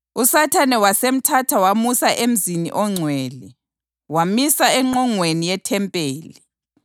USathane wasemthatha wamusa emzini ongcwele, wamisa engqongweni yethempeli.